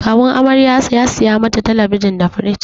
Kawun amarya ya saya mata talabijin di firij.